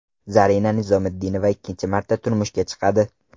Zarina Nizomiddinova ikkinchi marta turmushga chiqadi.